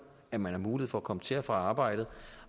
at man har mulighed for at komme til og fra arbejdet